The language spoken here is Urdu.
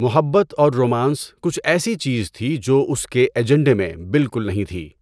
محبت اور رومانس کچھ ایسی چیز تھی جو اس کے ایجنڈے میں بالکل نہیں تھی۔